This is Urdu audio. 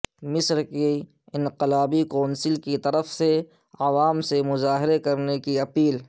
مصر کی انقلابی کونسل کیطرف سے عوام سے مظاہرے کرنے کی اپیل